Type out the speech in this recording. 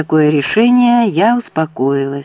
такое решение я успокоилась